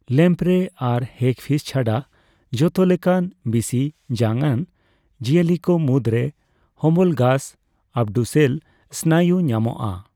Lamprey ᱟᱨ hagfish ᱪᱷᱟᱰᱟ ᱡᱷᱚᱛᱚ ᱞᱮᱠᱟᱱ ᱵᱤᱥᱤᱼᱡᱟᱝ ᱟᱱ ᱡᱤᱭᱟᱹᱞᱤ ᱠᱚᱼ ᱢᱩᱫᱽᱨᱮ ᱦᱳᱢᱳᱞᱜᱟᱥ ᱟᱹᱵᱰᱩᱥᱮᱱ ᱥᱱᱟᱭᱩ ᱧᱟᱢᱚᱜᱼᱟ ᱾